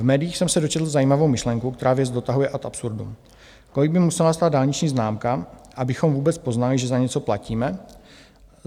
V médiích jsem se dočetl zajímavou myšlenku, která věc dotahuje ad absurdum, kolik by musela stát dálniční známka, abychom vůbec poznali, že za něco platíme?